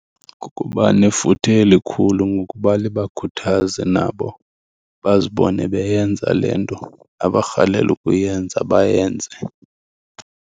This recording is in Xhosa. Kukuba nefuthe elikhulu ngokuba libakhuthaze nabo bazibone beyenza le nto abarhalela ukuyenza, bayenze.